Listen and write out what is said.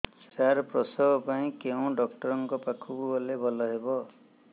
ସାର ପ୍ରସବ ପାଇଁ କେଉଁ ଡକ୍ଟର ଙ୍କ ପାଖକୁ ଗଲେ ଭଲ ହେବ